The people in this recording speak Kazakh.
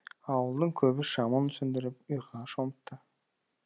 ауылдың көбі шамын сөндіріп ұйқыға шомыпты